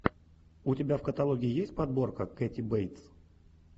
у тебя в каталоге есть подборка кэти бейтс